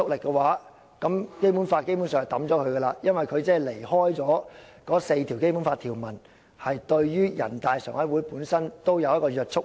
她的觀點否定了一個很基本的設定：前述4項《基本法》條文對於人大常委會具約束力。